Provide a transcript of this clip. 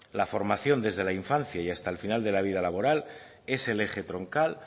la formación desde la infancia y hasta el final de la vida laboral es el eje troncal